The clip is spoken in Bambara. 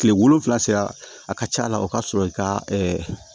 Kile wolonfila sera a ka ca la o ka sɔrɔ i ka